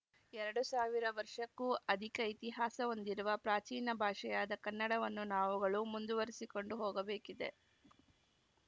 ಎರಡು ಸಾವಿರ ವರ್ಷಕ್ಕೂ ಅದಿಕ ಇತಿಹಾಸ ಹೊಂದಿರುವ ಪ್ರಾಚೀನ ಭಾಷೆಯಾದ ಕನ್ನಡವನ್ನು ನಾವುಗಳು ಮುಂದುವರಿಸಿಕೊಂಡು ಹೋಗಬೇಕಿದೆ